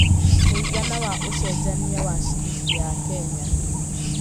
mũigana wa ũcenjanĩa wa ciringi ya Kenya